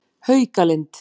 Haukalind